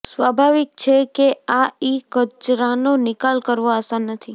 સ્વાભાવિક છે કે આ ઈ કચરાનો નિકાલ કરવો આસાન નથી